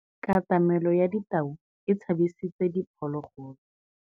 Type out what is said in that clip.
Katamêlô ya tau e tshabisitse diphôlôgôlô.